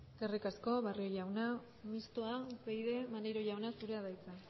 eskerrik asko barrio jauna mistoa upyd maneiro jauna zurea da hitza